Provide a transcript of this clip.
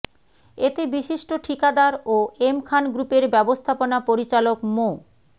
এতে বিশিষ্ট ঠিকাদার ও এম খান গ্রুপের ব্যবস্থাপনা পরিচালক মো